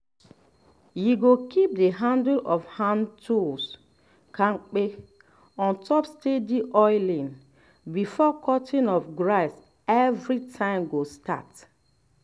you go keep the handle of hand-tools kampe ontop steady oiling before cutting of grass everytime go start